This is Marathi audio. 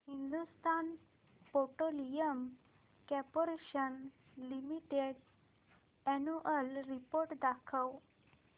Hindustan petroleum corporation limited annual report दाखव